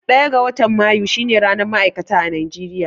Ɗaya ga watan Mayu shine ranar ma'aikata a Najeriya.